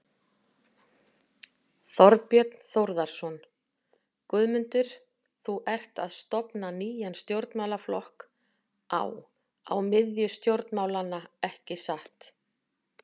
Þorbjörn Þórðarson: Guðmundur, þú ert að stofna nýjan stjórnmálaflokk á, á miðju stjórnmálanna, ekki satt?